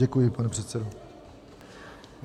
Děkuji, pane předsedo.